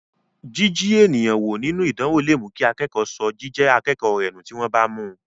Jiji èèyàn wo nínú ìdánwò lè mú kí akẹ́kọ̀ọ́ sọ jíjẹ́ akẹ́kọ̀ọ́ rẹ nù tí wọ́n bá mú.